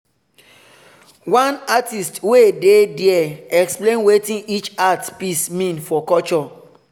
one artist wey dey there explain wetin each art piece mean for culture.